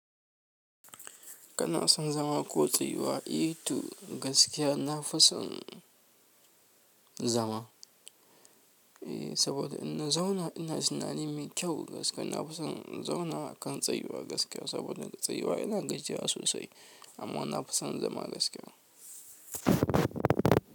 Kana son zama ko tsayuwa? E to gaskiya na fi son zama. E, saboda in na zauna ina tunani mai kyau gaskiya. Na fi son in zauna akan tsayuwa gaskiya saboda tsayuwa ina gajiya sosai. Amma na fi son zama gaskiya.